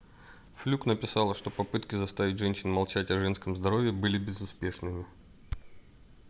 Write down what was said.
флюк написала что попытки заставить женщин молчать о женском здоровье были безуспешными